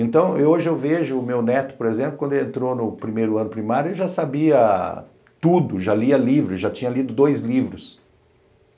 Então, hoje eu vejo o meu neto, por exemplo, quando ele entrou no primeiro ano primário, ele já sabia tudo, já lia livros, já tinha lido dois livros.